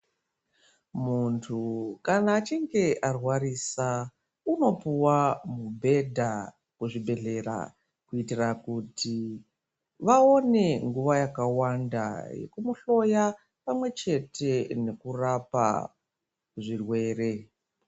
Muntu kana achinge arwarisa unopuwa mubhedha kuzvibhedhleya kuitire kuti vaone nguwa yakawanda yekumuhloya pamwechete nekurapa zvirwere.